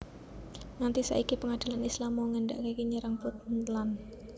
Nganti saiki pengadilan Islam mau ngéndhani nyerang Puntland